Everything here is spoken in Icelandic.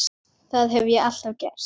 Það hef ég alltaf gert